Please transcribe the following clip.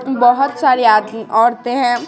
बहुत सारी औरतें हैं।